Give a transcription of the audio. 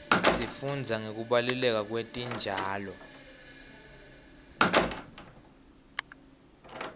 sifundza ngekubaluleka kwetitjalo